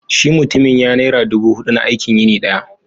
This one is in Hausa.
shi mutumin ya naira dubu hudu na aikin yini daya